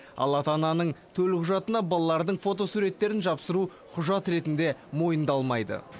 ал ата ананың төлқұжатына балалардың фотосуреттерін жапсыру құжат ретінде мойындалмайды